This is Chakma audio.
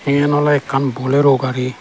eyan ole ekkan bolero gari.